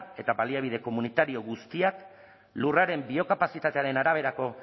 eta baliabide komunitario guztiak lurraren biokapazitatearen araberako